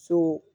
So